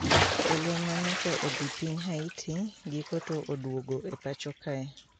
Jolweny ma nyocha odhi piny Haiti giko to uduogo e pacho kae